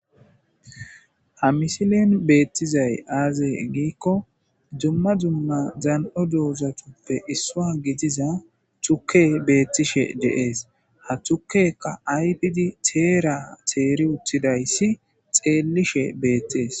Ha misilen betizayi aze giko duma duma dani'o dozata isuwa gidiza tukeyi betishe deyesi ha tukeyika ayife ayifidi teri utidayisi xelishe betesi.